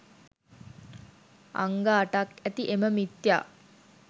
අංග අටක් ඇති එම මිථ්‍යා